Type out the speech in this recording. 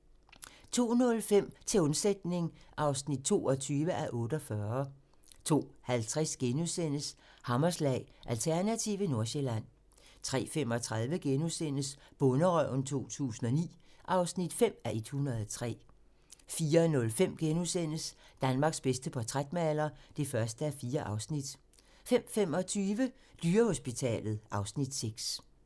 02:05: Til undsætning (22:48) 02:50: Hammerslag - Alternative Nordsjælland * 03:35: Bonderøven 2009 (5:103)* 04:05: Danmarks bedste portrætmaler (1:4)* 05:25: Dyrehospitalet (Afs. 6)